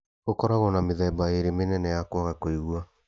Gũkoragwo na mĩthemba ĩrĩ mĩnene ya kwaga kũigua